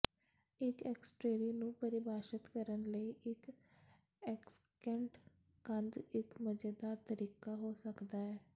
ਇੱਕ ਐਕਸਟਰੇਰੀ ਨੂੰ ਪਰਿਭਾਸ਼ਿਤ ਕਰਨ ਲਈ ਇੱਕ ਐਕਸਿਕੈਂਟ ਕੰਧ ਇੱਕ ਮਜ਼ੇਦਾਰ ਤਰੀਕਾ ਹੋ ਸਕਦਾ ਹੈ